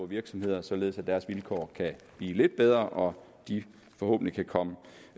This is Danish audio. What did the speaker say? virksomheder således at deres vilkår kan blive lidt bedre og de forhåbentlig kan komme